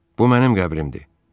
Bu mənim qəbrimdir.